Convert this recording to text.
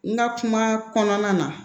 N ka kuma kɔnɔna na